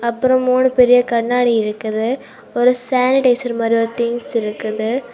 அப்புறம் மூணு பெரிய கண்ணாடி இருக்குது. ஒரு சானிடைசர் மாரி ஒரு டீஸ் இருக்குது.